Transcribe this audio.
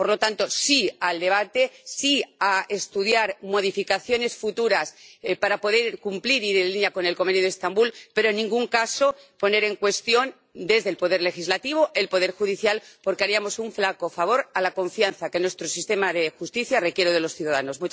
Por lo tanto, sí al debate, sí a estudiar modificaciones futuras para poder cumplir e ir en línea con el Convenio de Estambul, pero, en ningún caso, poner en cuestión desde el poder legislativo el poder judicial, porque haríamos un flaco favor a la confianza que nuestro sistema de justicia requiere de los ciudadanos.